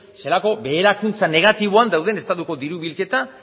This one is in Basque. zelako beherakuntza negatiboan dauden estatuko diru bilketa